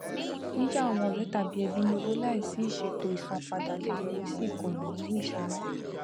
yíyá àwọn ọrẹ tàbí ẹbí ní owó láìsí ìṣètò isanpada lè yọrí sí ikuna nínú ìṣúná